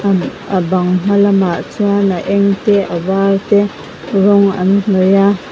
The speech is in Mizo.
a bang hma lamah chuan a eng te a var te rawng an hnawih a.